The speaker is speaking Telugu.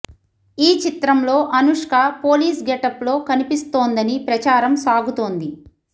ఈ చిత్రంలో అనుష్క పోలీస్ గెటప్ లో కనిపిస్తోందని ప్రచారం సాగుతోంది